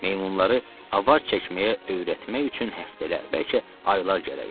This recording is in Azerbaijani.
Meymunları avar çəkməyə öyrətmək üçün həftələr, bəlkə aylar gərək idi.